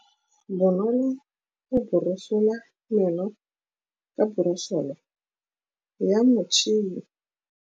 Bonolô o borosola meno ka borosolo ya motšhine.